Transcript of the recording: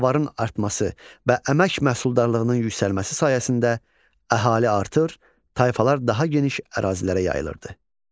Davarın artması və əmək məhsuldarlığının yüksəlməsi sayəsində əhali artır, tayfalar daha geniş ərazilərə yayılırdı.